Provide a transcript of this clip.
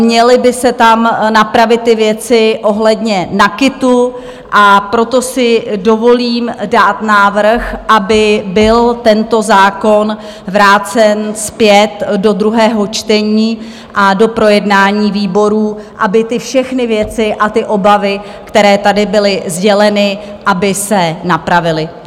Měly by se tam napravit ty věci ohledně NAKITu, a proto si dovolím dát návrh, aby byl tento zákon vrácen zpět do druhého čtení a do projednání výborů, aby ty všechny věci a ty obavy, které tady byly sděleny, aby se napravily.